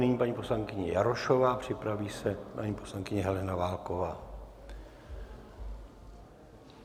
Nyní paní poslankyně Jarošová, připraví se paní poslankyně Helena Válková.